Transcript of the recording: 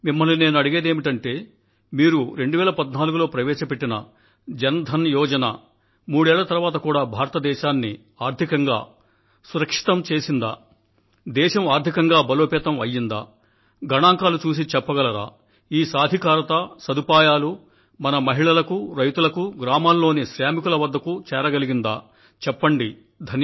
మిమ్మల్ని నేను అడిగేదేమిటంటే మీరు 2014లో ప్రవేశపెట్టిన జన ధన యోజన వల్ల మూడేళ్ల తరువాత కూడా భారతదేశాన్ని ఆర్థికంగా సురక్షితం చేసిందా దేశం ఆర్థికంగా బలోపేతం అయ్యిందా గణాంకాలు చూసి చెప్పగలరా ఈ సాధికారత సదుపాయాలు మన మహిళలకు రైతులకు గ్రామాల్లోని శ్రామికుల వద్దకూ చేరగలిగిందాచెప్పండి